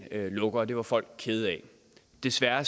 lukker og det var folk kede af desværre